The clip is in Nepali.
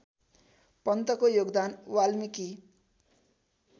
पन्तको योगदान वाल्मीकि